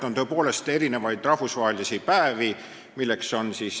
On tõepoolest rahvusvaheliselt tähistatavaid päevi.